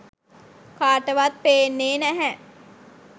කාටවත් පේන්නෙ නැහැ.